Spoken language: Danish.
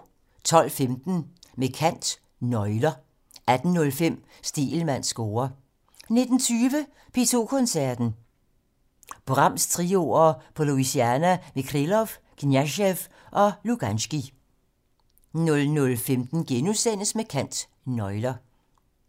12:15: Med kant - Nøgler 18:05: Stegelmanns score 19:20: P2 Koncerten - Brahms-trioer på Louisiana med Krylov, Kniazev og Luganskij 00:15: Med kant - Nøgler *